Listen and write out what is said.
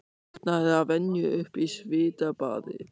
Vaknaði að venju upp í svitabaði.